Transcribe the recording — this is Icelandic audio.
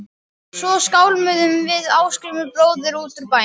Svo skálmuðum við Ásgrímur bróðir út úr bænum.